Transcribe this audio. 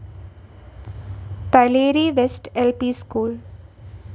Paleri West L P school